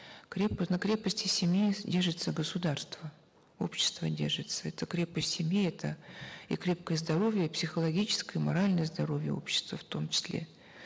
на крепости семьи держится государство общество держится это крепость семьи это и крепкое здоровье психологическое моральное здоровье общества в том числе